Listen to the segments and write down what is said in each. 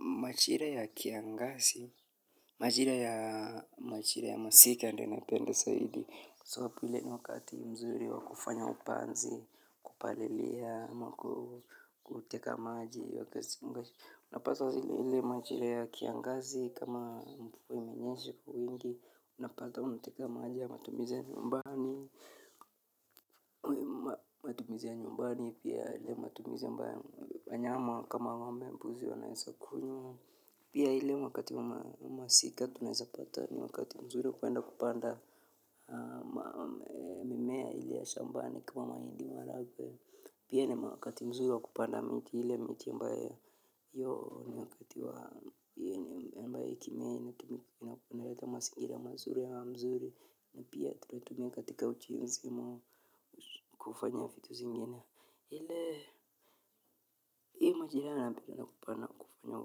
Majira ya kiangazi, majira ya masika ndio napenda zaidi. So hapo ni ile ni wakati mzuri wa kufanya upanzi, kupalilia, ama ku kuteka maji. Unapaswa zile ile majira ya kiangazi kama mvua imenyesha kwa wingi, unapata unateka maji ya matumizi ya nyumbani. Matumizi ya nyumbani, pia ile matumizi ambaye wanyama kama ng'ombe mbuzi wanaeza kunywa. Pia ile wakati wa masika tunaezapata ni wakati mzuri kwenda kupanda mimea ile ya shambani kwa mahindi maharagwe. Pia ni wakati mzuri wa kupanda miti ile miti ambayo. Yoo ni wakati wa inaleta mazingira mazuri hewa mzuri. Na pia tunaitumia katika ujenzi ama kufanya vitu zingine. Ile hii majira yana pana kufanya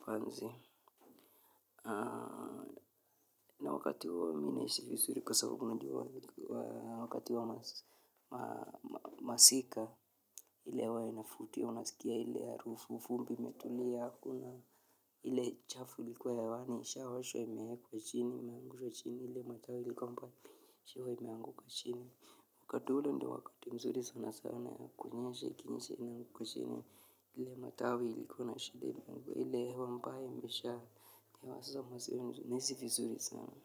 upanzi. Na wakati huo ni mzuri kwa sababu unajua wa wakati wa masika ile hewa inavutia, unasikia ili harufu vumbi imetulia hakuna ile chafu ilikuwa hewani ishaoshwa imeekwa chini, imeangusha chini, ile matawi ilikuwa mbaya, pia imeanguka chini. Wakati ule ndio wakati mzuri sana sana ya kunyesha ikinyesha inaanguka chini. Ile matawi ilikuwa na shida ile hewa mbaya imesha hewa sasa za nahisi vizuri sana.